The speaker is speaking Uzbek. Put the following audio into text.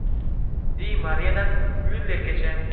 Di Mariyadan Myullergacha.